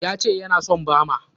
Ya ce ya na son bama?